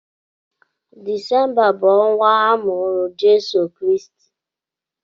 Disemba wụ ọnwa a mụrụ Jesu Kristi.